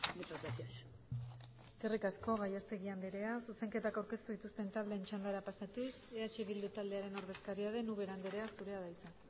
muchas gracias eskerrik asko gallastegui andrea zuzenketa aurkeztu dituzte taldeen txandara pasatuz eh bildu taldearen ordezkaria den ubera andrea zurea da hitza